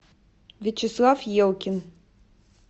вячеслав елкин